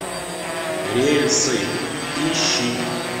рельсы ищи